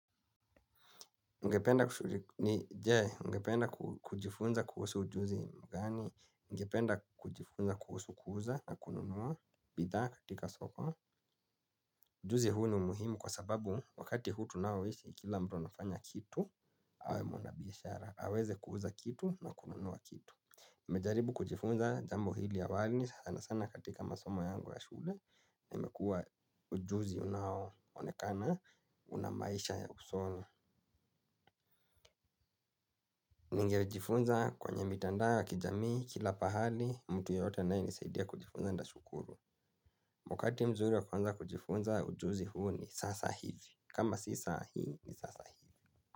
Ungependa kujifunza kuhusu ujuzi mgani? Ningependa kujifunza kuhusu kuuza na kununua bidhaa katika soko. Ujuzi huu ni muhimu kwa sababu wakati huu tunaoishi, kila mtu anafanya kitu, awe mwanabiashara. Aweze kuuza kitu na kununua kitu. Nimejaribu kujifunza jambo hili awali sana sana katika masomo yangu ya shule, na imekuwa ujuzi unaonekana una maisha ya usoni. Ningejifunza kwenye mitandao ya kijamii kila pahali mtu yeyote anayenisaidia kujifunza nitashukuru. Wakati mzuri wa kuanza kujifunza ujuzi huu ni sasa hivi. Kama si saa hii ni sasa hivi.